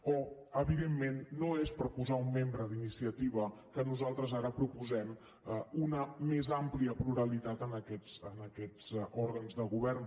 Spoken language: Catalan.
o evidentment no és per posar un membre d’iniciativa que nosaltres ara proposem una més àmplia pluralitat en aquests òrgans de govern